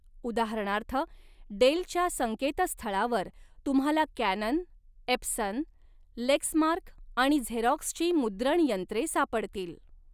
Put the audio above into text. उदाहरणार्थ, डेलच्या संकेतस्थळावर तुम्हाला कॅनन, एप्सन, लेक्समार्क आणि झेरॉक्सची मुद्रणयंत्रे सापडतील.